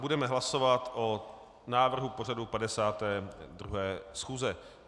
Budeme hlasovat o návrhu pořadu 52. schůze.